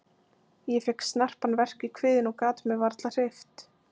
Ég fékk snarpan verk í kviðinn og gat mig varla hreyft.